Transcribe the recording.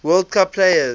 world cup players